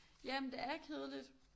Ja men det er kedeligt